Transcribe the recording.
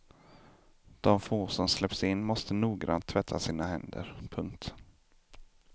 De få som släpps in måste noggrant tvätta sina händer. punkt